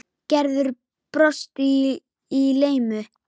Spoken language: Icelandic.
Gerður brosti í laumi.